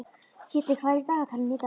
Kiddi, hvað er í dagatalinu í dag?